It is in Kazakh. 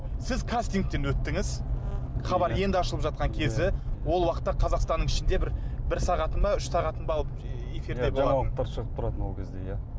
сіз кастингтен өттіңіз хабар енді ашылып жатқан кезі ол уақытта қазақстанның ішінде бір бір сағатын ба үш сағатын ба алып жаңалықтар шығып тұратын ол кезде иә